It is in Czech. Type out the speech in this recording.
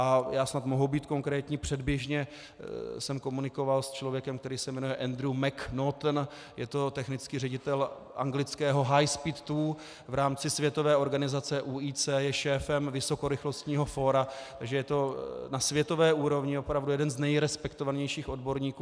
A já snad mohu být konkrétní, předběžně jsem komunikoval s člověkem, který se jmenuje Andrew McNaughton, je to technický ředitel anglického High Speed Two v rámci světové organizace UIC, je šéfem vysokorychlostního fóra, takže je to na světové úrovni opravdu jeden z nejrespektovanějších odborníků.